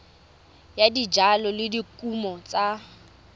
ya dijalo le dikumo tsa